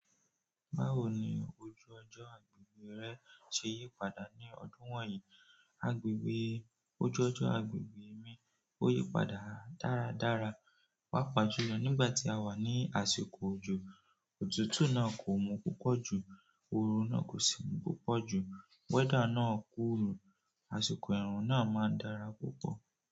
Báwo ni ojú ọjọ agbègbè rẹ ṣe yípadà ní ọdún wonyii? Ojú ọjọ́ agbègbè mi ò yípadà dáradára. Pàpà julọ nígbà tí a wà ní àsìkò òjò, òtútù náà kò mú púpọ̀ jù, òòrùn náà kò sì mú púpọ̀ jù. Weather náà cool, àsìkò ẹ̀rùn náà máa ń dára púpọ̀.